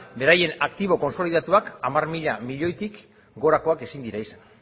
beraien aktibo kontsolidatuak hamar mila milioitik gorakoak ezin dira izan